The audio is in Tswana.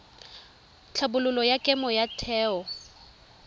tlhabololo ya kemo ya theo